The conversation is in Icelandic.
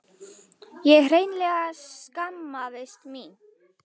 Ég hreinlega skammaðist mín.